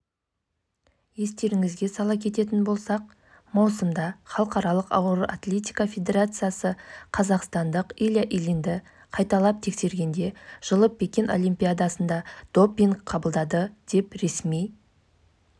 айта кетейік канада көмір өндіруден әлем бойынша орында тұр ал елдің электр энергиясының көмірсутекті қолданбайды бұл көрсеткішті жылға таман арттыру жоспарланып